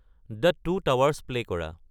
the two towers play কৰা